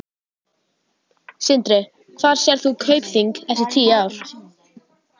Sindri: Hvar sérð þú Kaupþing eftir tíu ár?